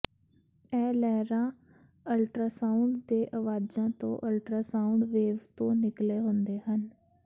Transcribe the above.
ਇਹ ਲਹਿਰਾਂ ਅਲਟਰਾਸਾਉਂਡ ਦੇ ਆਵਾਜ਼ਾਂ ਤੋਂ ਅਲਟਰਾਸਾਊਂਡ ਵੇਵ ਤੋਂ ਨਿਕਲੇ ਹੁੰਦੇ ਹਨ